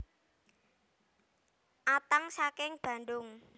Atang saking Bandung